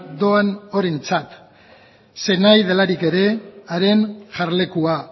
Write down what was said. doan horrentzat zeinahi delarik ere haren jarlekua